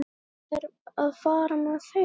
Áttu þær að fara með þeim?